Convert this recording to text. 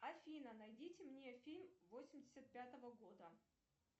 афина найдите мне фильм восемьдесят пятого года